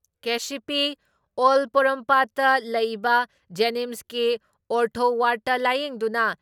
KCP L ꯄꯣꯔꯣꯝꯄꯥꯠꯇ ꯂꯩꯕ ꯖꯦꯅꯤꯝꯁꯀꯤ ꯑꯣꯔꯊꯣ ꯋꯥꯔꯗꯇ ꯂꯥꯌꯦꯡꯗꯨꯅ